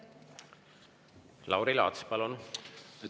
Lauri Laats, palun!